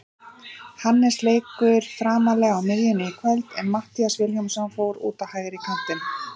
Hannes lék framarlega á miðjunni í kvöld en Matthías Vilhjálmsson fór út á hægri kantinn.